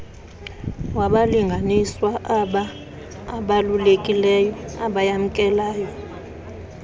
wabalinganiswa abaabalulekileyo abayamkelayo